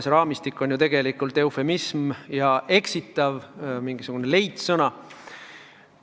See "raamistik" on ju tegelikult eufemism ja mingisugune eksitav leidsõna.